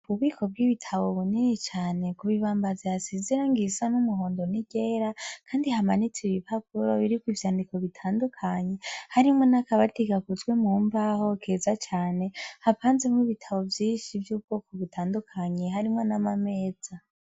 Ububiko bw'ibitabo bunini cyane ku bibambazi hasize irangi risa n'umuhondo n'iryera kandi hamanitse ibipapuro biriko ivyandiko bitandukanye harimwo n'akabatigakuzwe mumbaho keza cane hapanzemwo ibitabo vyinshi vy'ubwoko butandukanye harimo n'amameza.